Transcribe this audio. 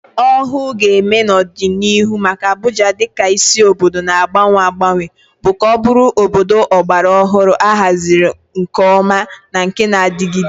Ọhụụ ga-eme n'ọdịnihu maka Abuja dị ka isi obodo na-agbanwe agbanwe bụ ka ọ bụrụ obodo ọgbara ọhụrụ, ahaziri nke ọma, na nke na-adigide.